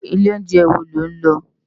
Ilé óunjè wó ló n lò?